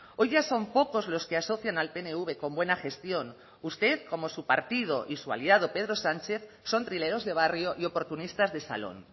hoy ya son pocos los que asocian al pnv con buena gestión usted como su partido y su aliado pedro sánchez son trileros de barrio y oportunistas de salón